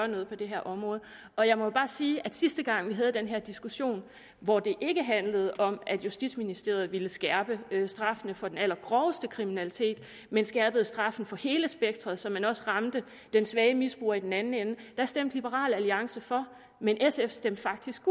noget på det her område og jeg må bare sige at sidste gang vi havde den her diskussion hvor det ikke handlede om at justitsministeren ville skærpe straffene for den allergroveste kriminalitet men skærpe straffen for hele spektret så man også ramte den svage misbruger i den anden ende stemte liberal alliance for men sf stemte faktisk